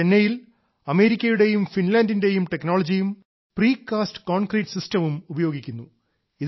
ചെന്നൈയിൽ അമേരിക്കയുടെയും ഫിൻലാൻഡിന്റെയും ടെക്നോളജിയും പ്രീ കാസ്റ്റ് കോൺക്രീറ്റ് സിസ്റ്റവും ഉപയോഗിക്കുന്നു